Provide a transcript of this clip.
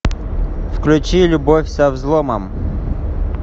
включи любовь со взломом